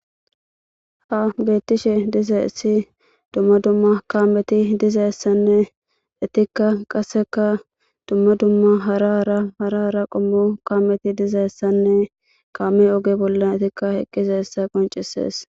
ha beettishe diza issi dumma dumma kameti dizaessanne etikka qasseka dumma dumma hara ara hara ara qommo kaameti dizaessanne kaame oge bolla etikka eqqize hessa qoncisees